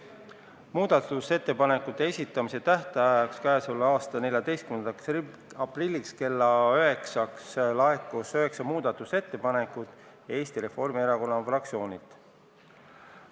Muudatusettepanekute esitamise tähtajaks, 14. aprilliks kella 9-ks laekus üheksa ettepanekut Eesti Reformierakonna fraktsioonilt.